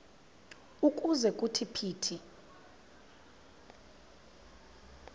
ukuze kuthi phithi